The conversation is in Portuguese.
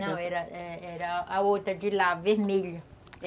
Não, era era a outra de lá, vermelha.